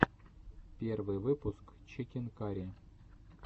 первый выпуск чикен карри